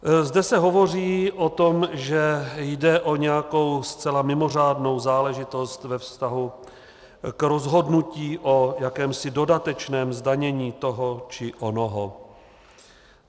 Zde se hovoří o tom, že jde o nějakou zcela mimořádnou záležitost ve vztahu k rozhodnutí o jakémsi dodatečném zdanění toho či onoho.